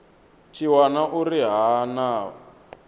tshi wana uri ha na